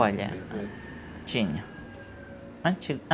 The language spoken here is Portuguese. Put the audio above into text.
Olha, tinha, antigo